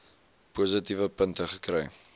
positiewe punte kry